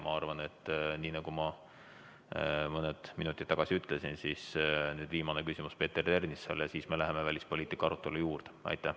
Ma arvan, nii nagu ma mõned minutid tagasi ütlesin, et nüüd on viimane küsimus, Peeter Ernitsa oma, ja siis me läheme välispoliitika arutelu juurde.